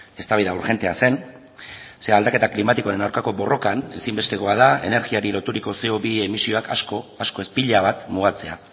eztabaida urgentea zen ze aldaketa klimatikoaren aurkako borrokan ezinbestekoa da energiari loturiko ce o bi emisioak asko asko ez pila bat mugatzea